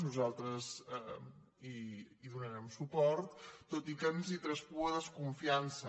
nosaltres hi donarem suport tot i que ens traspua desconfiança